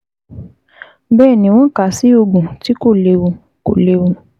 Bẹ́ẹ̀ ni, wọ́n kà á sí oògùn tí kò léwu kò léwu